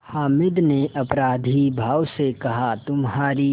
हामिद ने अपराधीभाव से कहातुम्हारी